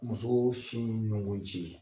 Musoo sin ma bɔ ji